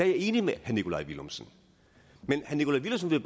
jeg enig med herre nikolaj villumsen men herre nikolaj villumsen vil